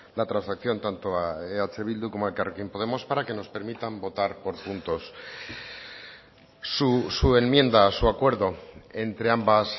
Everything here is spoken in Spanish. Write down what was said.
la transacción tanto a eh bildu como a elkarrekin podemos para que nos permitan votar por puntos su enmienda su acuerdo entre ambas